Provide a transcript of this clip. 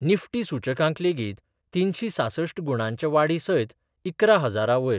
Nifty सुचकांक लेगीत तिनशी सांसष्ठ गुणांच्या वाडी सयत इकरा हजारा वयर